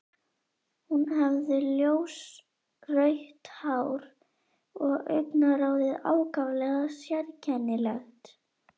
Hún hafði ljósrautt hár og augnaráðið ákaflega sérkennilegt.